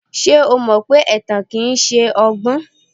Ṣé o mọ pé ẹ̀tàn kìí ṣọgbọ́n?